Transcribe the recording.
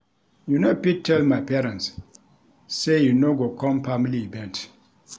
You no fit tell my parents sey you no go com family event.